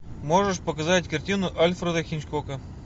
можешь показать картину альфреда хичкока